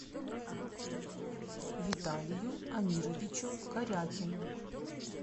виталию амировичу корякину